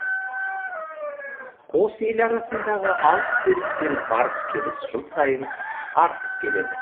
қос ел арасындағы алыс беріс пен барыс келіс жыл сайын артып келеді